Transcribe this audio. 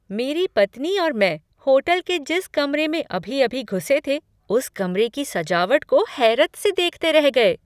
मेरी पत्नी और मैं होटल के जिस कमरे में अभी अभी घुसे थे उस कमरे की सजावट को हैरत से देखते रह गए।